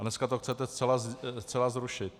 A dneska to chcete zcela zrušit.